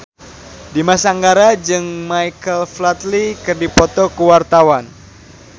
Dimas Anggara jeung Michael Flatley keur dipoto ku wartawan